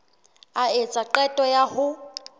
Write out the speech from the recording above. a etsa qeto ya ho